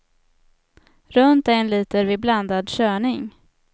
Runt en liter vid blandad körning.